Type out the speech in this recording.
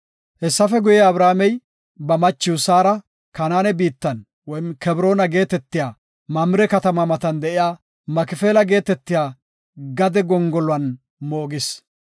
Hessafe guye, Abrahaamey ba machiw Saara Kanaane biittan (Kebroona) geetetiya Mamire katama matan de7iya Makifeela geetetiya gade gongoluwan moogis.